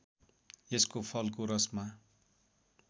यसको फलको रसमा